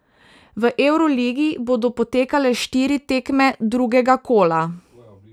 V evroligi bodo potekale štiri tekme drugega kola.